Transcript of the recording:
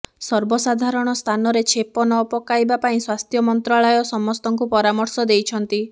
ସର୍ବସାଧାରଣ ସ୍ଥାନରେ ଛେପ ନ ପକାଇବା ପାଇଁ ସ୍ବାସ୍ଥ୍ୟ ମନ୍ତ୍ରାଳୟ ସମସ୍ତଙ୍କୁ ପରାମର୍ଶ ଦେଇଛନ୍ତି